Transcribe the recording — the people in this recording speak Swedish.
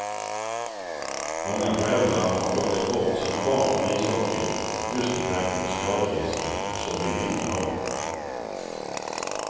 Många föräldrar har plockat bort sina barn från ishockeyn just med tanke på skaderisken och så vill vi inte ha det.